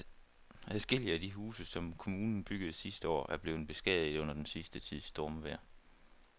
Adskillige af de huse, som kommunen byggede sidste år, er blevet beskadiget under den sidste tids stormvejr.